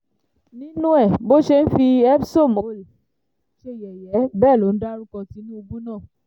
nínú ẹ̀ bó ṣe ń fi epismhole ṣe yẹ̀yẹ́ bẹ́ẹ̀ ló ń dárúkọ tinubu náà